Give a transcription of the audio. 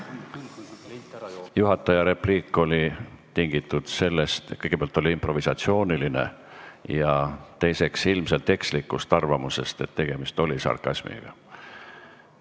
Juhataja repliik oli esiteks improvisatsiooniline ja teiseks tingitud ilmselt ekslikust arvamusest, et tegemist oli sarkasmiga.